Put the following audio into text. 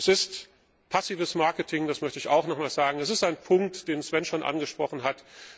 Es ist passives Marketing, das möchte ich auch noch einmal sagen. Es ist ein Punkt, den Sven schon angesprochen